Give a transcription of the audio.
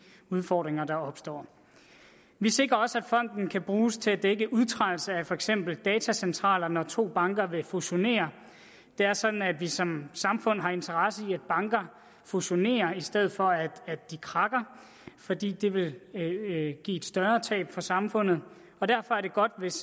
udfordringer der opstår vi sikrer også at fonden kan bruges til at dække udtrædelse af for eksempel datacentraler når to banker vil fusionere det er sådan at vi som samfund har interesse i at banker fusionerer i stedet for at de krakker fordi det vil give et større tab for samfundet og derfor er det godt hvis